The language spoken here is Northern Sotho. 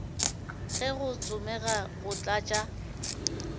ge go tsomega go tlatša